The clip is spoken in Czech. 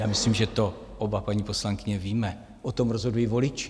Já myslím, že to oba, paní poslankyně, víme, o tom rozhodují voliči.